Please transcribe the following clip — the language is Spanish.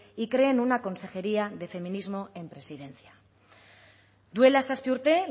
y creen una consejería de feminismo en presidencia duela zazpi urte